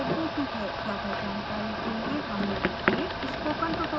ज्यादा जानकारी के लिए हमें लिखें